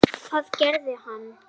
Hvað gerði hann?